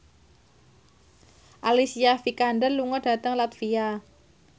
Alicia Vikander lunga dhateng latvia